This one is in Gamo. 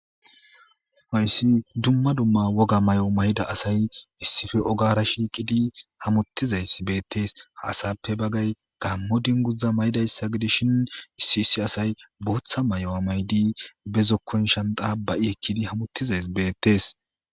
Hayssi dumma dumma woga mayo mayida asay issippe ogara shiiqidi hamottizays beettees .Ha asappe bagay gammo dunguza mayida issa gides shin issi issi asay bootha mayo mayidi ba zokkon shanxa ba'i ekkidi hamottiza beettees.